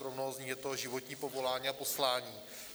Pro mnoho z nich je to životní povolání a poslání.